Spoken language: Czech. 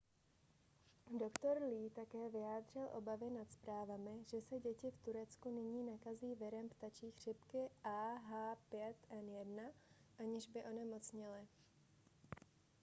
doktor lee také vyjádřil obavy nad zprávami že se děti v turecku nyní nakazí virem ptačí chřipky ah5n1 aniž by onemocněly